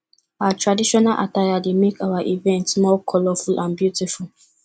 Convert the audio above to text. our traditional attire dey make our events more colorful and beautiful